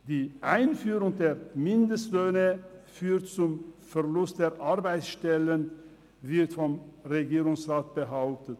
Die Einführung von Mindestlöhnen führt zum Verlust der Arbeitsstellen, wird vom Regierungsrat behauptet.